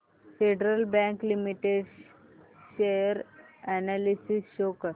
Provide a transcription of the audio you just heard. federal Bank Limited share analysis show कर